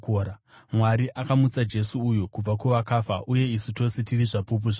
Mwari akamutsa Jesu uyu kubva kuvakafa, uye isu tose tiri zvapupu zvacho.